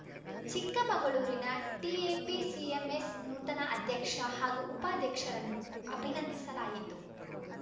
ಚಿಕ್ಕಮಗಳೂರಿನ ಟಿಎಪಿಸಿಎಂಎಸ್‌ ನೂತನ ಅಧ್ಯಕ್ಷ ಹಾಗೂ ಉಪಾಧ್ಯಕ್ಷರನ್ನು ಅಭಿನಂದಿಸಲಾಯಿತು